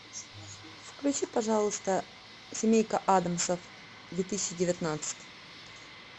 включи пожалуйста семейка аддамсов две тысячи девятнадцать